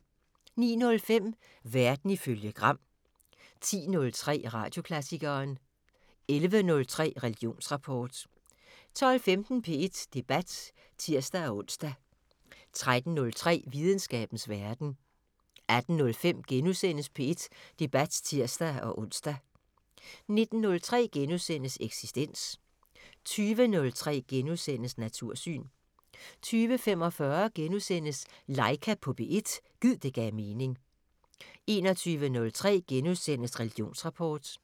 09:05: Verden ifølge Gram 10:03: Radioklassikeren 11:03: Religionsrapport 12:15: P1 Debat (tir-ons) 13:03: Videnskabens Verden 18:05: P1 Debat *(tir-ons) 19:03: Eksistens * 20:03: Natursyn * 20:45: Laika på P1 – gid det gav mening * 21:03: Religionsrapport *